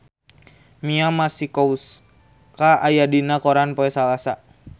Mia Masikowska aya dina koran poe Salasa